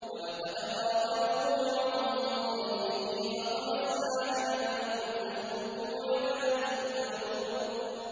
وَلَقَدْ رَاوَدُوهُ عَن ضَيْفِهِ فَطَمَسْنَا أَعْيُنَهُمْ فَذُوقُوا عَذَابِي وَنُذُرِ